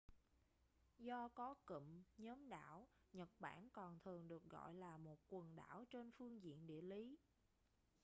do có cụm/nhóm đảo nhật bản còn thường được gọi là một quần đảo trên phương diện địa lý